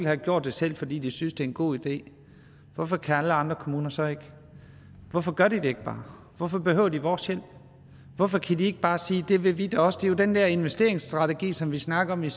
har gjort det selv fordi de synes det er en god idé hvorfor kan alle andre kommuner så ikke hvorfor gør de det ikke bare hvorfor behøver de vores hjælp hvorfor kan de ikke bare sige det vil vi da også det om den der investeringsstrategi som vi snakkede